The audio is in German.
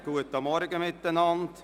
Guten Morgen miteinander.